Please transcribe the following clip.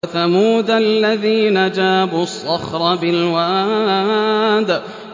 وَثَمُودَ الَّذِينَ جَابُوا الصَّخْرَ بِالْوَادِ